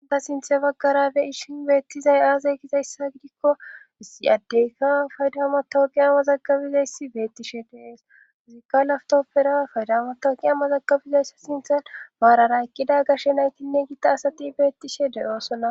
Ha'i ta sinthe baggara beyishin beettizay aazey gizayssa gidikko ii addeyka faydamatooqi amazagabizayssi beettishe deeesizikka laftoppera faydamatoqi a mazagabizayssa sinthan maarara ekkida gashshe naytinne giita asati beettishe deyoosonna